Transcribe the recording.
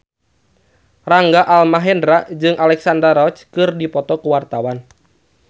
Rangga Almahendra jeung Alexandra Roach keur dipoto ku wartawan